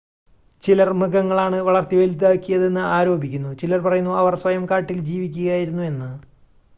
ചിലർ മൃഗങ്ങളാണ് വളർത്തിവലുതാക്കിയതെന്ന് ആരോപിക്കുന്നു ചിലർ പറയുന്നു അവർ സ്വയം കാട്ടിൽ ജീവിക്കുകയായിരുന്നു എന്ന്